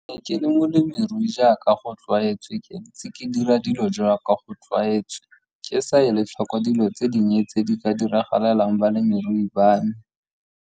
Ke ne ke le molemirui jaaka go tlwaetswe ke ntse ke dira dilo jaaka go tlwaetswe ke sa eIe tlhoko dilo tse dinnye tse di ka diragalelwang bolemirui ba me.